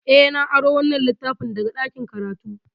Eh, na aro wannan littafin daga ɗakin karatu.